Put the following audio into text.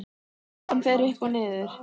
Kúrfan fer upp og niður.